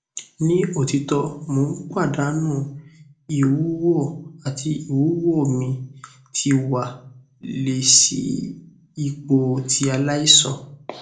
ni otito mo n padanu iwuwo ati iwuwo mi ti wa le si ipo ti alaisan